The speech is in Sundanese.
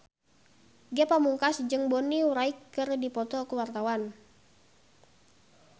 Ge Pamungkas jeung Bonnie Wright keur dipoto ku wartawan